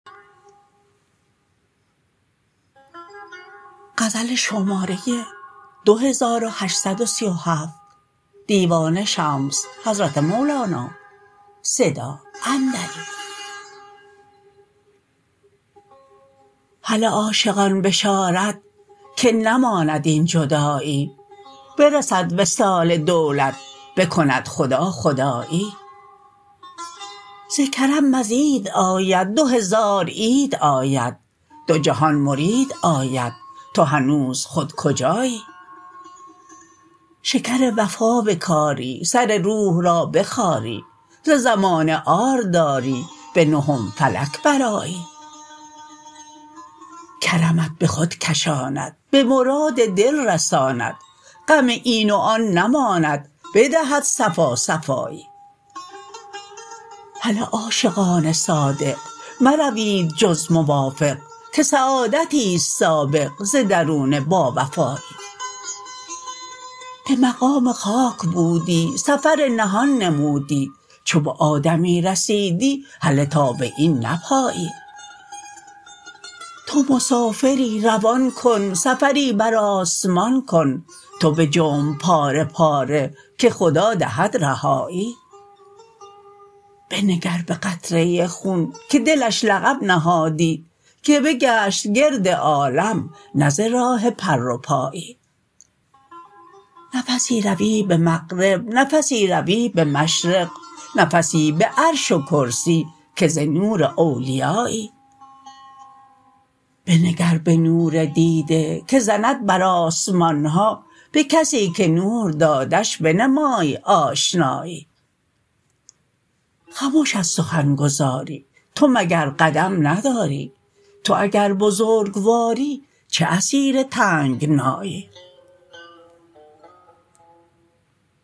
هله عاشقان بشارت که نماند این جدایی برسد وصال دولت بکند خدا خدایی ز کرم مزید آید دو هزار عید آید دو جهان مرید آید تو هنوز خود کجایی شکر وفا بکاری سر روح را بخاری ز زمانه عار داری به نهم فلک برآیی کرمت به خود کشاند به مراد دل رساند غم این و آن نماند بدهد صفا صفایی هله عاشقان صادق مروید جز موافق که سعادتی است سابق ز درون باوفایی به مقام خاک بودی سفر نهان نمودی چو به آدمی رسیدی هله تا به این نپایی تو مسافری روان کن سفری بر آسمان کن تو بجنب پاره پاره که خدا دهد رهایی بنگر به قطره خون که دلش لقب نهادی که بگشت گرد عالم نه ز راه پر و پایی نفسی روی به مغرب نفسی روی به مشرق نفسی به عرش و کرسی که ز نور اولیایی بنگر به نور دیده که زند بر آسمان ها به کسی که نور دادش بنمای آشنایی خمش از سخن گزاری تو مگر قدم نداری تو اگر بزرگواری چه اسیر تنگنایی